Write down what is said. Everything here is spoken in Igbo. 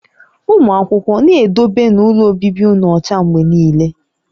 Ụmụ akwụkwọ, na-edobenu ụlọ obibi ụnụ ọcha mgbe niile!